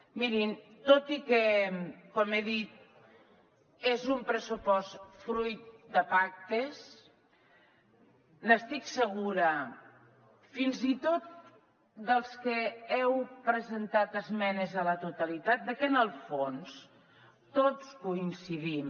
mirin tot i que com he dit és un pressupost fruit de pactes n’estic segura fins i tot dels que heu presentat esmenes a la totalitat que en el fons tots coincidim